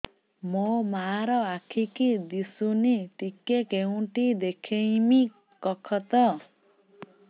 ମୋ ମା ର ଆଖି କି ଦିସୁନି ଟିକେ କେଉଁଠି ଦେଖେଇମି କଖତ